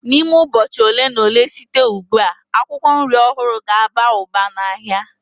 N'ime ụbọchị ole na ole site ugbu a, akwụkwọ nri ọhụrụ ga-aba ụba n'ahịa.